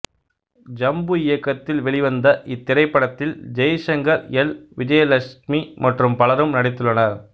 ஜம்பு இயக்கத்தில் வெளிவந்த இத்திரைப்படத்தில் ஜெய்சங்கர் எல் விஜயலக்ஸ்மி மற்றும் பலரும் நடித்துள்ளனர்